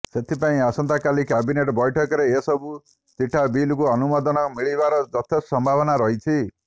ସେଥିପାଇଁ ଆସନ୍ତାକାଲି କ୍ୟାବିନେଟ ବୈଠକରେ ଏସବୁ ଚିଠା ବିଲକୁ ଅନୁମୋଦନ ମିଳିବାର ଯଥେଷ୍ଟ ସମ୍ଭାବନା ରହିଛି